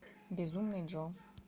безумный джо